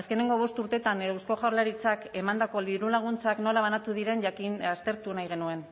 azkenengo bost urteetan eusko jaurlaritzak emandako dirulaguntzak nola banatu diren aztertu nahi genuen